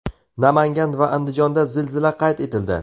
Namangan va Andijonda zilzila qayd etildi.